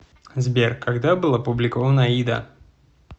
сбер когда был опубликован аида